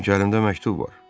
Çünki əlimdə məktub var.